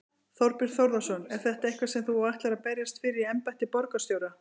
Þorbjörn Þórðarson: Er þetta eitthvað sem þú ætlar að berjast fyrir í embætti borgarstjóra?